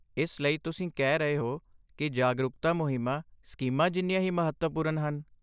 ਇਸ ਲਈ, ਤੁਸੀਂ ਕਹਿ ਰਹੇ ਹੋ ਕਿ ਜਾਗਰੂਕਤਾ ਮੁਹਿੰਮਾਂ ਸਕੀਮਾਂ ਜਿੰਨੀਆਂ ਹੀ ਮਹੱਤਵਪੂਰਨ ਹਨ।